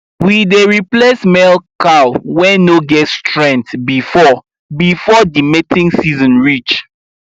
we dey replace male cow wey no get strenght before before the mating seeson reach